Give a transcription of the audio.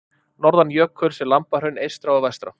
Norðan jökuls eru Lambahraun eystra og vestra.